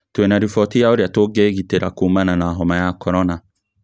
Twĩna riboti ya ũrĩa tũgĩgitĩra kũũmana na homa ya korona